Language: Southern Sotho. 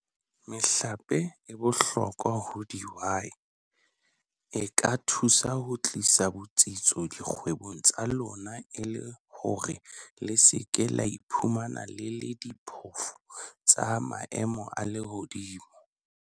Mehlape e bohlokwa ho dihwai - E ka thusa ho tlisa botsitso dikgwebong tsa lona e le hore le se ke la iphumana le le diphofu tsa maemo a lehodimo.